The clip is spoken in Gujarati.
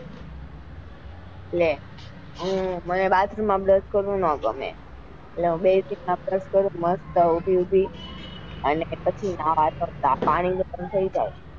લી મને bathroom માં brush કરવું નાં ગમે એટલે ચપરે કરું મસ્ત ઉભી ઉભી અને પછી નવા જાઉં ત્યાં સુધી પાણી ગરમ થઇ જાય.